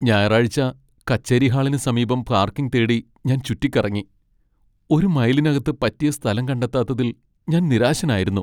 ഞായറാഴ്ച കച്ചേരി ഹാളിന് സമീപം പാർക്കിംഗ് തേടി ഞാൻ ചുറ്റിക്കറങ്ങി, ഒരു മൈലിനകത്ത് പറ്റിയ സ്ഥലം കണ്ടെത്താത്തതിൽ ഞാൻ നിരാശനായിരുന്നു.